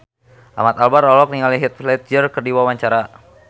Ahmad Albar olohok ningali Heath Ledger keur diwawancara